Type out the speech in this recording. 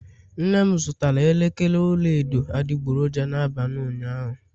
nnem zụtara elekere ọla edo adịgboroja n'abalị ụnyaahụ